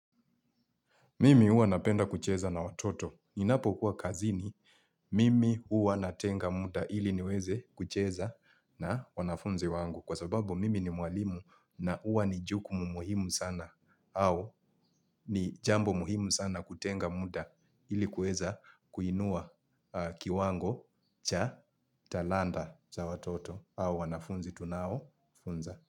Mimi huwa napenda kucheza na watoto. Ninapokuwa kazini, mimi huwa natenga muda ili niweze kucheza na wanafunzi wangu. Kwa sababu mimi ni mwalimu na huwa ni jukumu muhimu sana au ni jambo muhimu sana kutenga muda ili kuweza kuinua kiwango cha talanta za watoto au wanafunzi tunao funza.